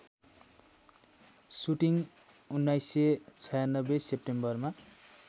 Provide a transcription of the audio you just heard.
shooting १९९६ सेप्टेम्बरमा